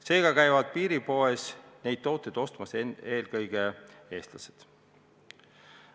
Seega käivad piiripoes neid tooteid ostmas eelkõige Eesti inimesed.